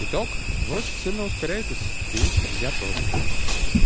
итог вы очень сильно ускоряетесь и я тоже